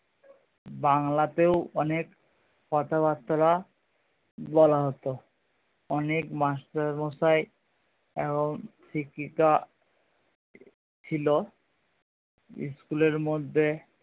বাংলাতেও অনেক কথাবার্তা বলা হতো অনেক মাস্টার মশাই এবং শিক্ষিকা ছিল school এর মধ্যে